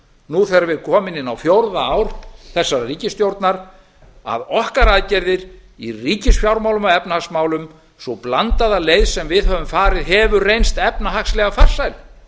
nú þegar við erum komin inn á fjórða ár þessarar ríkisstjórnar að okkar aðgerðir í ríkisfjármálum og efnahagsmálum sú blandaða leið sem við höfum farið hefur reynst efnahagslega farsæl